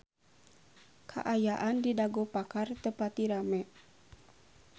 Kaayaan di Dago Pakar teu pati rame